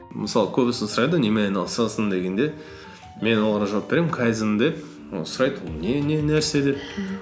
мысалы көбісі сұрайды ғой немен айналысасың дегенде мен оларға жауап беремін кайдзен деп ол сұрайды ол не не нәрсе деп